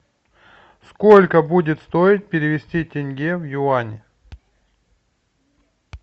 сколько будет стоить перевести тенге в юань